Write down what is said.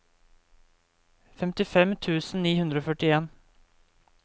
femtifem tusen ni hundre og førtien